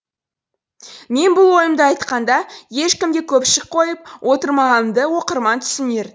мен бұл ойымды айтқанда ешкімге көпшік қойып отырмағанымды оқырман түсінер